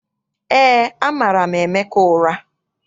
EÉ, amara m Emeka ụra.